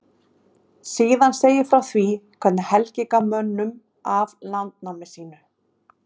Síðan segir frá því hvernig Helgi gaf mönnum af landnámi sínu.